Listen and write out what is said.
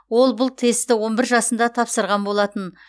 ол бұл тестті он бір жасында тапсырған болатын